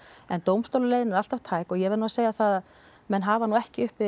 en dómstólaleiðin er alltaf tæk og ég verð nú að segja að menn hafa ekki uppi